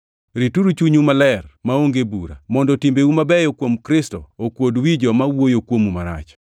Rituru chunyu maler maonge bura, mondo timbeu mabeyo kuom Kristo okuod wi joma wuoyo kuomu marach.